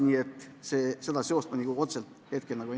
Nii et seda seost ma siin praegu otseselt ei näe.